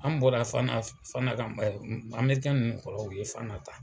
An bɔra Fana Fana ka nun kɔrɔw o ye Fana ta.